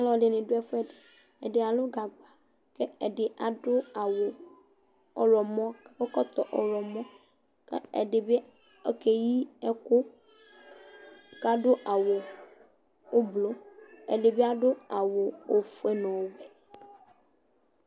Ɔlu ɛdini du ɛfu ɛdi Ɛdi alu gagba ku ɛdi adu awu ɔɣlɔmɔ ku akɔ ɛkɔtɔ ɔɣlɔmɔ Ku ɛdibi okeyi ɛku ku adu awu ublɔ Ɛdibi adu awu ɔfue nu